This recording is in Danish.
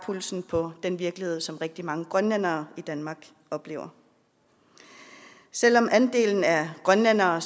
pulsen på den virkelighed som rigtig mange grønlændere i danmark oplever selv om andelen af grønlændere